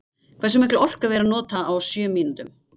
Hversu mikla orku er verið að nota á sjö mínútum?